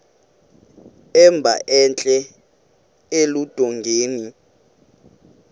emba entla eludongeni